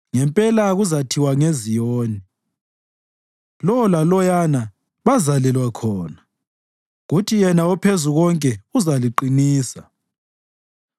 Ngempela kuzathiwa ngeZiyoni, “Lo laloyana bazalelwa khona, kuthi yena oPhezukonke uzaliqinisa.”